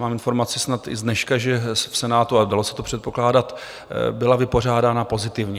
Mám informaci, snad i z dneška, že v Senátu, ale dalo se to předpokládat, byla vypořádána pozitivně.